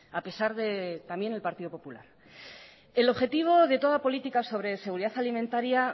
a pesar de también el partido popular el objetivo de toda política sobre seguridad alimentaria